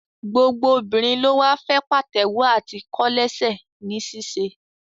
Gbogbo obìnrin ló wá fẹ́ pàtẹ́wọ́ àti kòlẹ́sẹ̀ ní ṣíṣe